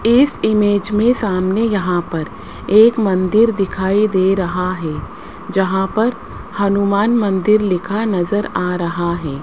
इस इमेज में सामने यहां पर एक मंदिर दिखाई दे रहा है जहां पर हनुमान मंदिर लिखा नज़र आ रहा है।